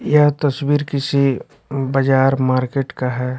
यह तस्वीर किसी बजार मार्केट का है।